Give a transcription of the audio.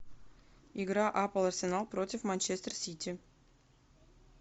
игра апл арсенал против манчестер сити